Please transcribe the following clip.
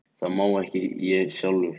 Það má ég ekki sjálfur.